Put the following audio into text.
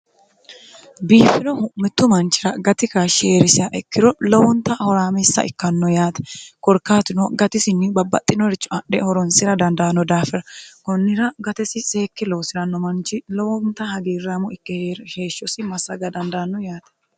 biiffiro hu'mittu manchira gati ka hshieerisia ikkiro lowonta horaamissa ikkanno yaate gorkaatino gatisinni babbaxxinoricho adhe horonsira dandaanno daafira kunnira gatesi seekke loosiranno manchi lowonta hagiirramu ikke heeshshosi massaga dandaanno yaate